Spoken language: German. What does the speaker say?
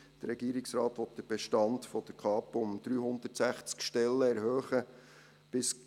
Der Regierungsrat will bis in gut zehn Jahren den Bestand der Kapo um 360 Stellen erhöhen.